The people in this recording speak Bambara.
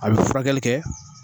A bi furakɛli kɛ.